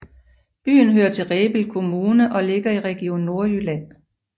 Byen hører til Rebild Kommune og ligger i Region Nordjylland